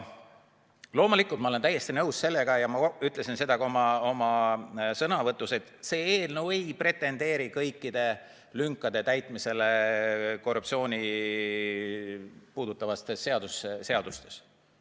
Loomulikult ma olen täiesti nõus sellega ja ma ütlesin ka oma sõnavõtus, et see eelnõu ei pretendeeri kõikide lünkade täitmisele korruptsiooni puudutavates seadustes.